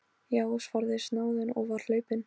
Já, svaraði snáðinn og var hlaupinn.